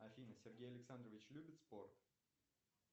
афина сергей александрович любит спорт